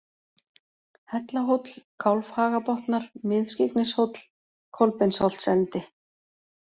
Hellahóll, Kálfhagabotnar, Mið-Skyggnishóll, Kolbeinsholtsendi